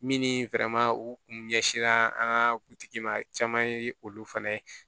Min ni u kun ɲɛsaa an ka kuntigi ma caman ye olu fana ye